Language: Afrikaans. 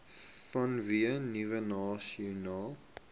vanweë nuwe nasionale